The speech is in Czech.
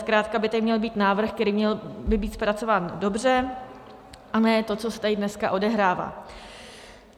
Zkrátka by tady měl být návrh, který by měl být zpracován dobře, a ne to, co se tady dneska odehrává.